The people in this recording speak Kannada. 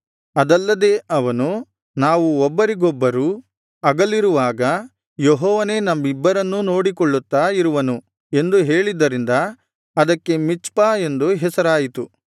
ಅದಲ್ಲದೆ ಅವನು ನಾವು ಒಬ್ಬರಿಗೊಬ್ಬರು ಅಗಲಿರುವಾಗ ಯೆಹೋವನೇ ನಮ್ಮಿಬ್ಬರನ್ನೂ ನೋಡಿಕೊಳ್ಳುತ್ತಾ ಇರುವನು ಎಂದು ಹೇಳಿದ್ದರಿಂದ ಅದಕ್ಕೆ ಮಿಚ್ಪಾ ಎಂದು ಹೆಸರಾಯಿತು